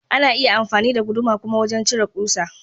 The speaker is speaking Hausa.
Ana iya amfani da guduma kuma wajan cire ƙusa.